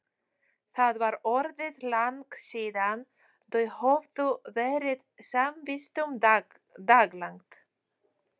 Það var orðið langt síðan þau höfðu verið samvistum daglangt.